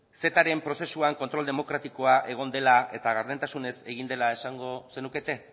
cetaren prozesuan kontrol demokratikoa egon dela eta gardentasunez egin dela esango zenukete